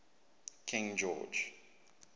king george